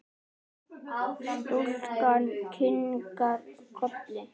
Stúlkan kinkar kolli.